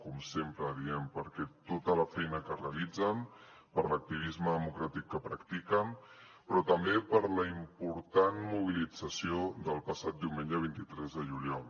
com sempre diem per tota la feina que realitzen per l’activisme democràtic que practiquen però també per la important mobilització del passat diumenge vint tres de juliol